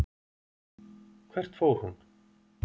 Hvert fór hún?